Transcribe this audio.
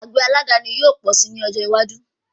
Àgbẹ̀ aládàani yóò pọ̀ si ní ọjọ́ iwájú